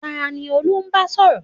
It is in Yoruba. Tani Olú ń bá sọ̀rọ̀?